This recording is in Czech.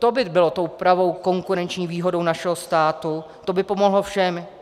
To by bylo tou pravou konkurenční výhodou našeho státu, to by pomohlo všem.